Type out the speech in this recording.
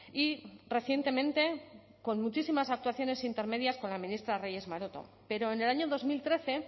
y recientemente con muchísimas actuaciones intermedias con la ministra reyes maroto pero en el año dos mil trece